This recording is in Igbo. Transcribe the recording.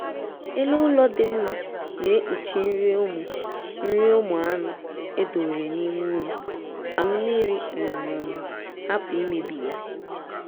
elu ụlọ dị mma na-ekpuchi nri ụmụ nri ụmụ anụ edowere n'ime ụlọ ka mmiri um hapụ imebi ya